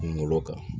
Kungolo kan